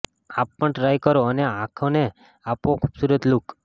આપ પણ ટ્રાઈ કરો અને આંખોને આપો ખુબસુરત લુક